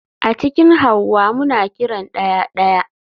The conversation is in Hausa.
A cikin hauwa muna kiran daya (daya)